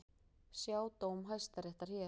Sjá dóm Hæstaréttar hér